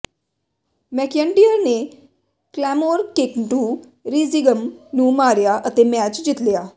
McIntyre ਨੇ Claymore kick to ਰੀਜਿੰਗਸ ਨੂੰ ਮਾਰਿਆ ਅਤੇ ਮੈਚ ਜਿੱਤ ਲਿਆ